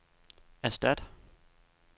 erstat